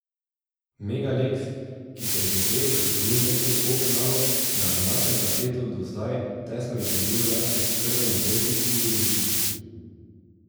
Mega Leks, ki si je že prej zagotovil mesto v polfinalu, je na domačem parketu do zdaj tesno izgubil le proti Crveni zvezdi in Budućnosti.